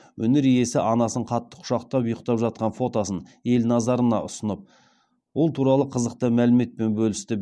өнер иесі анасын қатты құшақтап ұйықтап жатқан фотосын ел назарына ұсынып ол туралы қызықты мәліметпен бөлісті